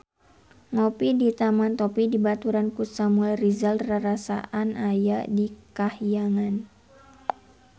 Ngopi di Taman Topi dibaturan ku Samuel Rizal rarasaan aya di kahyangan